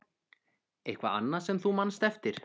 Eitthvað annað sem þú manst eftir?